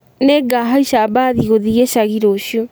Nĩngahaica mbathi gũthiĩ gĩcagi rũciũ